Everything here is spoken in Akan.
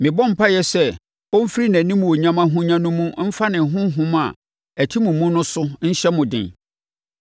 Mebɔ mpaeɛ sɛ ɔmfiri nʼanimuonyam ahonya no mu mfa ne Honhom a ɛte mo mu no so nhyɛ mo den,